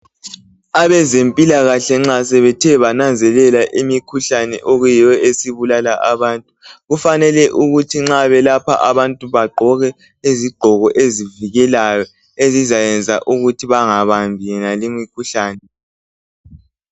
Abezempilakahle nxa sebethe bananzelela imikhuhlane eyiyo esibulala abantu kufanele ukuthi nxa belapha abantu bagqoke izigqoko ezivikelayo ezizayenza ukuthi bangabambi yonalimikhuhlane.